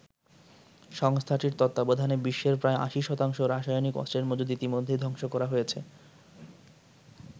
সংস্থাটির তত্ত্বাবধানে বিশ্বের প্রায় ৮০ শতাংশ রাসায়নিক অস্ত্রের মজুত ইতিমধ্যেই ধ্বংস করা হয়েছে।